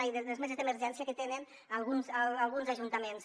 ai les meses d’emergència que tenen alguns ajuntaments